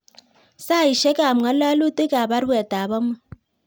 Saisyek ab ngalalutic ab baruet ab amut